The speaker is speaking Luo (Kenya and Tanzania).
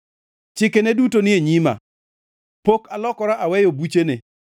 Chikene duto ni e nyima; pok alokora aweyo buchene.